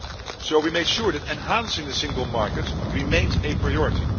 So we made sure that enhancing the single market remained a priority.